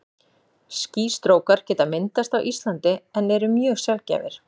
Skýstrókar geta myndast á Íslandi en eru mjög sjaldgæfir.